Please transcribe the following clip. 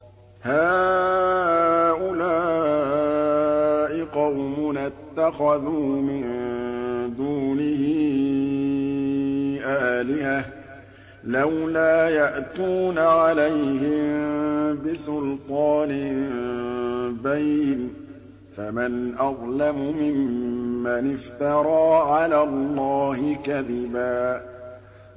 هَٰؤُلَاءِ قَوْمُنَا اتَّخَذُوا مِن دُونِهِ آلِهَةً ۖ لَّوْلَا يَأْتُونَ عَلَيْهِم بِسُلْطَانٍ بَيِّنٍ ۖ فَمَنْ أَظْلَمُ مِمَّنِ افْتَرَىٰ عَلَى اللَّهِ كَذِبًا